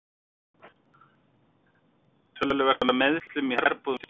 Töluvert er af meiðslum í herbúðum Stjörnunnar.